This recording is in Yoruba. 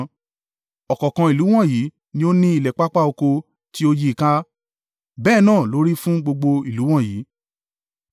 Ọ̀kọ̀ọ̀kan ìlú wọ̀nyí ni ó ni ilẹ̀ pápá oko tí ó yí ì ká, bẹ́ẹ̀ náà ló rí fún gbogbo ìlú wọ̀nyí.